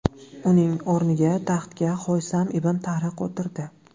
Uning o‘rniga taxtga Haysam ibn Tariq o‘tirdi.